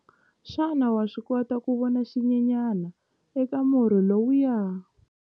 Xana wa swi kota ku vona xinyenyana eka murhi lowuya?